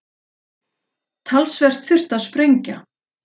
Talsvert þurfti að sprengja.